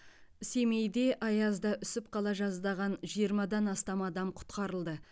семейде аязда үсіп қала жаздаған жиырмадан астам адам құтқарылды